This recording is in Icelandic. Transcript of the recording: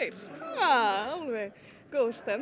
alveg góð stemning